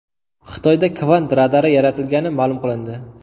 Xitoyda kvant radari yaratilgani ma’lum qilindi.